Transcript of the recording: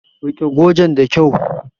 Rike gojen da kyau!